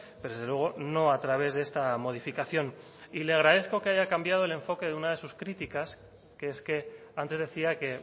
pero desde luego no a través de esta modificación y le agradezco que haya cambiado el enfoque de una de sus críticas que es que antes decía que